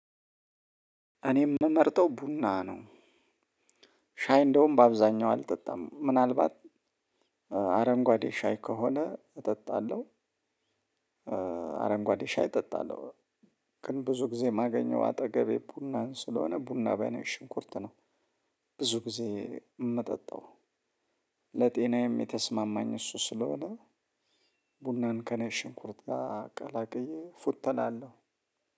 እኔም የምመርጠው ቡና ነው። ሻይ እንደውም በአብዛኛው አልጠጣም ምናልባት አረንጓዴ ሻይ ከሆነ እጠጣለሁ። አረንጓዴ ሻይ እጠጣለሁ። ግን ብዙ ጊዜ የማገኘው አጠገቤ ቡናን ስለሆነ ቡና በነጭ ሽንኩርት ነው። ብዙ ጊዜ የምጠጣው። ለጤናዬም የተስማማኝ እሱ ስለሆነ። ቡናን ከነጭ ሽንኩርት ጋር ቀላቅዬ እፎተላለሁ።